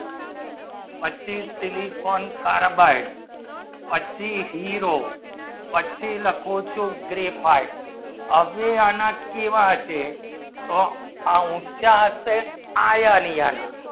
પછી silicon carbon પાછો ઇરોડ પછી લખો ચો graphite આવી અને કેવા હશે તો ઊંચા હશે iron લિયા ના